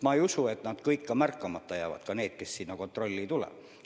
Ma ei usu, et need lapsed märkamata jäävad, ka need, kes sinna kontrolli ei tuleks.